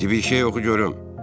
Dibindən bir şey oxu görüm.